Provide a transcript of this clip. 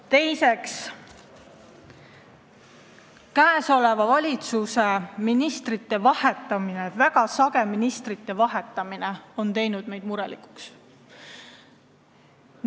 Teiseks, praeguse valitsuse ministrite väga sage vahetamine on meid murelikuks teinud.